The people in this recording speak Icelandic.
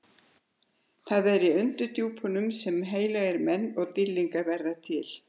Það er í undirdjúpunum sem heilagir menn og dýrlingar verða til.